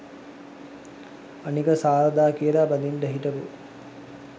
අනික සාරධා කියලා බඳින්න හිටපු